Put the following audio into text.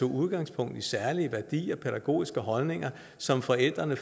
udgangspunkt i særlige værdier og pædagogiske holdninger som forældrene